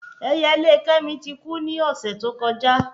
Ẹyẹlé kẹ́mi ti ku ni ọ̀sẹ̀ tó kọjá